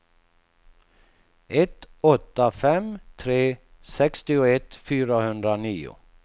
ett åtta fem tre sextioett fyrahundranio